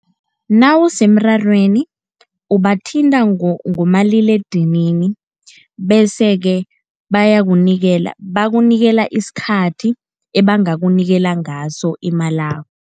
Nawusemrarweni ubathinta ngomaliledinini, bese-ke bayakunikela, bakunikela isikhathi ebangakunikela ngaso imalakho.